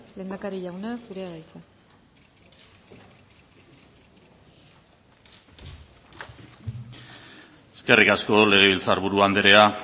lehendakari jauna zurea da hitza eskerrik asko legebiltzar buru andrea